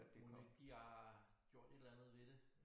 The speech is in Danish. Mon ikke de har gjort et eller andet ved det